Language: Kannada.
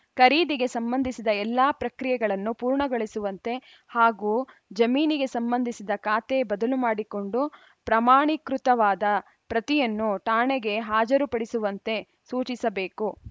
ಖರೀದಿಗೆ ಸಂಬಂಧಿಸಿದ ಎಲ್ಲ ಪ್ರಕ್ರಿಯೆಗಳನ್ನು ಪೂರ್ಣಗೊಳಿಸುವಂತೆ ಹಾಗೂ ಜಮೀನಿಗೆ ಸಂಬಂಧಿಸಿದ ಖಾತೆ ಬದಲು ಮಾಡಿಕೊಂಡು ಪ್ರಮಾಣಿಕೃತವಾದ ಪ್ರತಿಯನ್ನು ಠಾಣೆಗೆ ಹಾಜರುಪಡಿಸುವಂತೆ ಸೂಚಿಸಬೇಕು